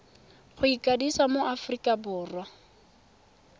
go ikwadisa mo aforika borwa